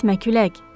Getmə külək!